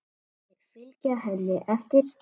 Þau fylgja henni eftir.